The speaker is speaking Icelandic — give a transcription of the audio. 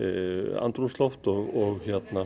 andrúmsloft og